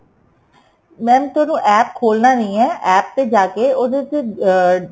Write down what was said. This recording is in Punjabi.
mam ਤੁਹਾਨੂੰ APP ਖੋਲਣਾ ਨਹੀਂ ਏ APP ਤੇ ਜਾ ਕੇ ਉਹਦੇ ਉੱਤੇ ਅਹ